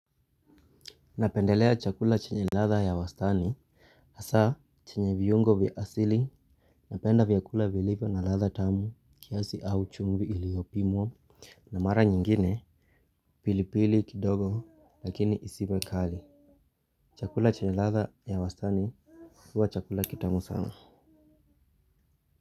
Napendelea chakula chenye latha ya wastani hasa chenye viyungo viasili napenda viakula vilivyo na latha tamu kiasi au chungvi iliopimwa na mara nyingine pilipili kidogo lakini isibwe kali. Chakula chenye latha ya wastani huwa chakula kitamu sana.